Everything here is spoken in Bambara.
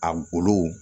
A golo